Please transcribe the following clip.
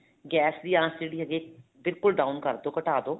gas ਦੀ ਆਂਚ ਜਿਹੜੀ ਹੈਗੀ ਹੈ ਬਿਲਕੁਲ down ਕਰਦੋ ਘਟਾ ਦੋ